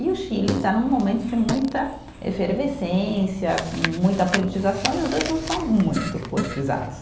E o Chile está num momento de muita efervescência, muita politização, e os dois não são muito politizados.